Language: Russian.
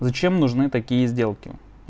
зачем нужны такие сделки